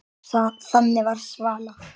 Þannig var Svala.